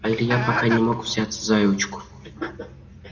а илья пока не мог взяться за ручку